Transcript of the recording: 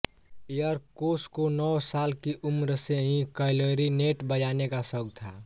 Erkoç को नौं साल की उम्र से ही क्लैरिनेट बजाने का शौक़ था